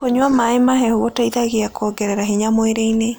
Kũnyua mae mahehũ gũteĩthagĩa kũongerera hinya mwĩrĩĩnĩ